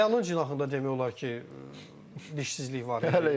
Xəyalın cinahında demək olar ki, dişsizlik var.